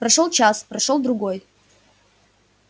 прошёл час прошёл другой